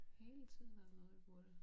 Hele tiden er der noget vi burde